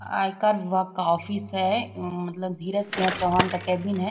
आयकर विभाग का ऑफिस है मतलब धीरज सिंह चौहान का कैबिन है।